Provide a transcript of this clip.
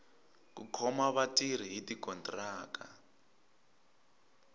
ku khoma vatirhi hi tikontiraka